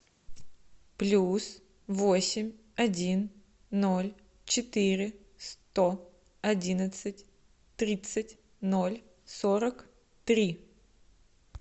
плюс восемь один ноль четыре сто одиннадцать тридцать ноль сорок три